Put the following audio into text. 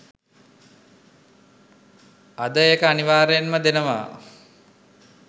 අද ඒක අනිවාර්යයෙන්ම දෙනවා.